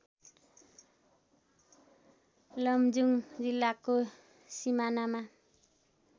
लमजुङ जिल्लाको सिमानामा